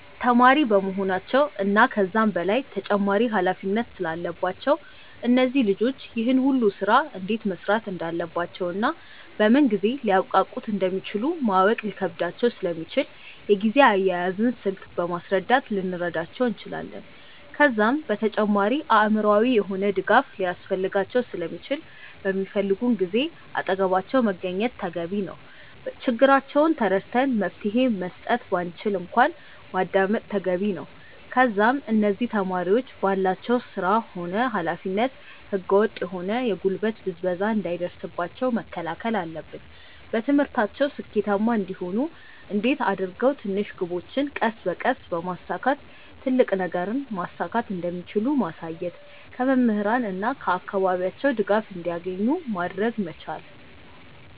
ተማሪ በመሆናቸው እና ከዛም በላይ ተጨማሪ ኃላፊነት ስላለባቸው እነዚህ ልጆች ይህን ሁሉ ስራ እንዴት መስራት እንዳለባቸውና በምን ጊዜ ሊያብቃቁት እንደሚችሉ ማወቅ ሊከብዳቸው ስለሚችል የጊዜ አያያዝን ስልት በማስረዳት ልንረዳቸው እንችላለን። ከዛም በተጨማሪ አእምሮአዊ የሆነ ድጋፍ ሊያስፈልጋቸው ስለሚችል በሚፈልጉን ጊዜ አጠገባቸው መገኘት ተገቢ ነው። ችግራቸውን ተረድተን መፍትሄ መስጠት ባንችል እንኳን ማዳመጥ ተገቢ ነው። ከዛም እነዚህ ተማሪዎች ባላቸው ስራ ሆነ ኃላፊነት ህገ ወጥ የሆነ የጉልበት ብዝበዛ እንዳይደርስባቸው መከላከል አለብን። በትምህርታቸው ስኬታማ እንዲሆኑ እንዴት አድርገው ትንሽ ግቦችን ቀስ በቀስ በማሳካት ትልቅ ነገርን ማሳካት እንደሚችሉ ማሳየት። ከመምህራን እና ከአካባቢያቸው ድጋፍ እንዲያገኙ ማድረግ መቻል።